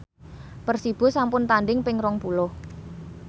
Persibo sampun tandhing ping rong puluh